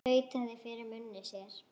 Tautaði fyrir munni sér.